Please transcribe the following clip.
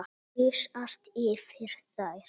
Gusast yfir þær.